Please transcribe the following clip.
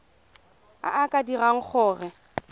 a a ka dirang gore